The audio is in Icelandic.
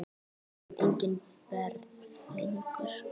Við erum engin börn lengur.